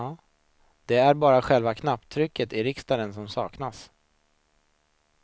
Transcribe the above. Det är bara själva knapptrycket i riksdagen som saknas.